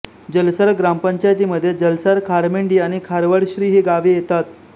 जलसार ग्रामपंचायतीमध्ये जलसार खारमेंडी आणि खारवडश्री ही गावे येतात